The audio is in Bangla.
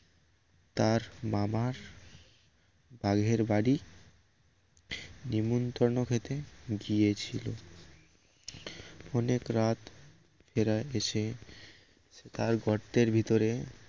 তার মামার বাঘের বাড়ি নেমন্তন্ন খেতে গিয়েছিল অনেক রাত এরা এসে তার গর্তের ভিতর